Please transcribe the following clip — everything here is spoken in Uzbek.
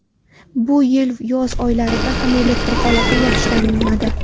Bu yil yoz oylarida ham elektr holati yaxshilanmadi.